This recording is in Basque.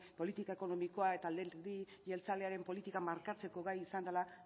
politika ekonomikoa eta alderdi jeltzalearen politika markatzeko gai izan dela